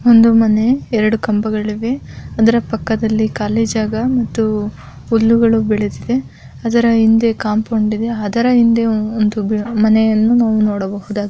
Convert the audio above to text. ಒಂದು ಮನೆ ಎರಡು ಕಂಬಗಳಿವೆ ಅದರ ಪಕ್ಕದಲ್ಲಿ ಖಾಲಿ ಜಾಗ ಮತ್ತು ಹುಲ್ಲುಗಳು ಬೆಳದಿದೆ. ಅದ್ರ ಹಿಂದೆ ಕಾಂಪೌಂಡ್ ಇದೆ. ಅದರ ಹಿಂದೆ ಒಂದು ಬ ಮನೆಯನ್ನು ನಾವು ನೋಡಬಹುದಾ --